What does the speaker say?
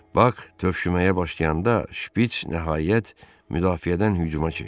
Bak tövşüməyə başlayanda şpits nəhayət müdafiədən hücuma keçdi.